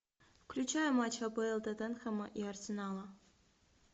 включай матч апл тоттенхэма и арсенала